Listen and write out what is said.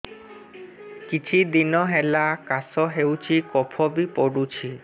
କିଛି ଦିନହେଲା କାଶ ହେଉଛି କଫ ବି ପଡୁଛି